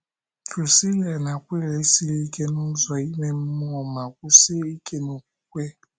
Prisila na Akwịla esiri ike n’ụzọ ime mmụọ ma kwụsie ike n’okwukwe?